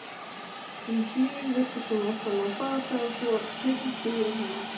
Um hríð virtist hún ætla að ná bata en svo þyrmdi yfir hana aftur.